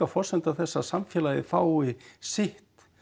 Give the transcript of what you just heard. forsenda þess að samfélagið fái sitt